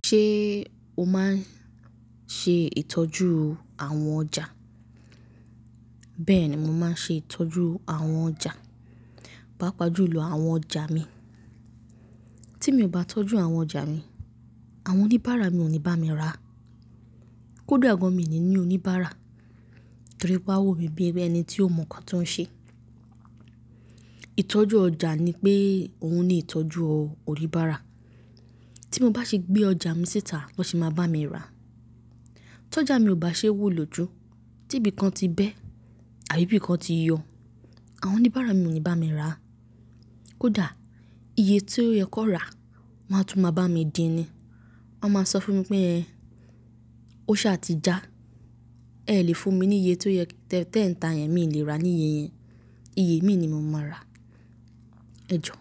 Ṣé o máa ń ṣe ìtọ́jú àwọn ọjà? Bẹ́ẹ̀ni mò máa ń ṣe ìtọ́jú àwọn ọjà, pàápàá jùlọ àwọn ọjà mi. Tí mi ò bá tọ́jú àwọn ọjà mi, àwọn oníbàárà mi ò ní bá mi rà. Kódà gan mi ni ní oníbàárà torí pé awo mí bíi ẹni tí ó mọ nǹkan tí ó ń ṣe. Ìtọ́jú ọjà ni pé òun ni ìtọ́jú oníbàárà. Tí mo bá ṣe gbé ọjà mi síta na se máa bá mi rà. T'ọjà mi ò bá ṣe wò lóju, tí ibìkan ti bẹ́ àbí bíkan ti yọ, àwọn oníbàárà mi ò ní bá mi rà. Kódà iye tí ó yẹ kón rà wọ́n áa tún máa bá mi dí ni. Wọ́n máa sọ fún mi pé "Ẹn, o ṣá ti já, ẹ lè fún mi ní iye tí ó yẹ, tẹ́ẹ̀ń ta yẹn mi ò lè rà ní iye yẹn. Iye mi ni mo máa rà." Ẹ̀jọ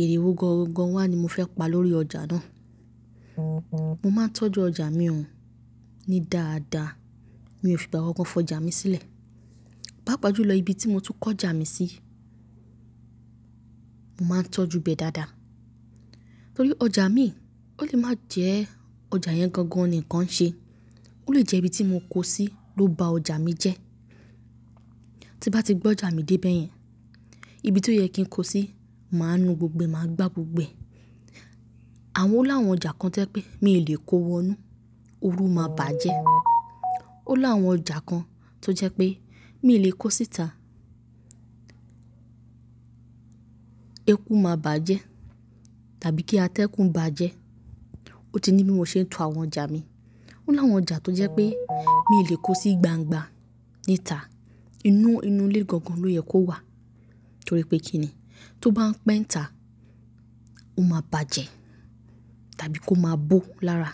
èrè wo gangan wá ni mo fẹ pa lórí ọjà náà. Mo máa ń tọ́jú ọjà mi ò ní dáadáa, mi ò fi ìgbà kankan fọ ọjà mi sílẹ̀. Páápàá jùlọ ibi tí mo tún kó ọjà mi sí, mo máa ń tọ́jú bẹ́ dáadáa. Torí ọjà mi ò lè máa jẹ́ ọjà yẹn gangan nìkan ṣe. Ó lè jẹ́ ibi tí mo kó sí ló bà ọjà mi jẹ́. Tí n bá ti gbé ọjà mi dé bẹ́ẹ̀ yẹn, ibi tí ó yẹ kí n kó sí, màá nù gbogbo ẹ̀, màá gbá gbogbo ẹ̀. Àwọn ó láwọn ọjà kan tó jẹ́ pé mi ò lè kó wọnú, ooru máa bà jẹ. Ó láwọn ọjà kan tó jẹ́ pé mi lè kó síta, ẹkú máa bà jẹ tàbí kí a tẹ́ ẹkún bà jẹ́. Ó ti ní bí mo ṣe ń tò àwọn ọjà mi. Ó láwọn ọjà tó jẹ́ pé mi lè kó sí gbangba níta, inú ilé gangan ló yẹ kó wà torí pé kí ni? Tó bá ń pẹ́nta, ó máa bà jẹ tàbí kó máa bò lára.